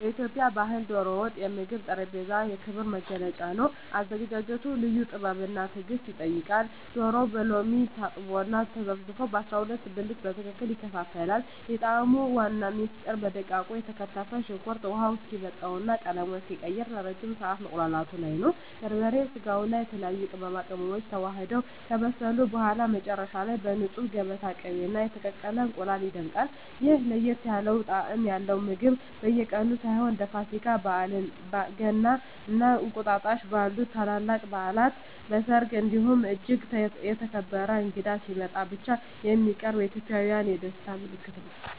በኢትዮጵያ ባሕል "ዶሮ ወጥ" የምግብ ጠረጴዛ የክብር መገለጫ ነው። አዘገጃጀቱ ልዩ ጥበብና ትዕግስት ይጠይቃል፤ ዶሮው በሎሚ ታጥቦና ተዘፍዝፎ በ12 ብልት በትክክል ይከፋፈላል። የጣዕሙ ዋና ምስጢር በደቃቁ የተከተፈ ሽንኩርት ውሃው እስኪመጥና ቀለሙን እስኪቀይር ለረጅም ሰዓት መቁላላቱ ላይ ነው። በርበሬ፣ ስጋውና የተለያዩ ቅመማ ቅመሞች ተዋህደው ከበሰሉ በኋላ፣ መጨረሻ ላይ በንፁህ የገበታ ቅቤና በተቀቀለ እንቁላል ይደምቃል። ይህ ለየት ያለ ጣዕም ያለው ምግብ በየቀኑ ሳይሆን፣ እንደ ፋሲካ፣ ገና እና እንቁጣጣሽ ባሉ ታላላቅ በዓላት፣ በሰርግ እንዲሁም እጅግ የተከበረ እንግዳ ሲመጣ ብቻ የሚቀርብ የኢትዮጵያውያን የደስታ ምልክት ነው።